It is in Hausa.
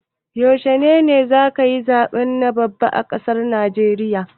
Yaushe ne za'a yi zaɓe na gaba a ƙasar Naijeriya?